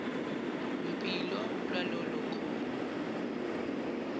mpilo lwalolo kholo